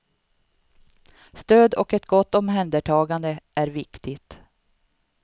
Stöd och ett gott omhändertagande är viktigt.